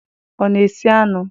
Ọ na-esi anụ?